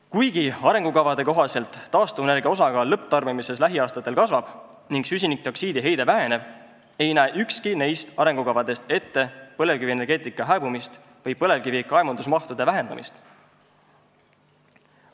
Kuigi arengukavade kohaselt taastuvenergia osakaal lõpptarbimises lähiaastatel kasvab ning süsinikdioksiidiheide väheneb, ei näe ükski neist arengukavadest ette põlevkivienergeetika hääbumist või põlevkivi kaevandamise mahu vähenemist.